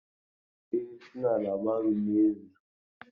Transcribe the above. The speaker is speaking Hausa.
E, suna labarin ne yanzun.